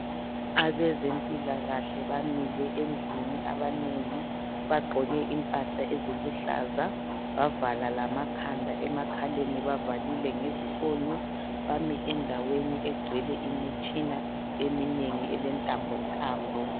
Abezempilakahle bamile endlini abanengi bagqoke impahla eziluhlaza bavala lamakhanda, emakhaleni bavalile ngezifonyo bami endaweni egcwele imitshina eminengi elentambontambo.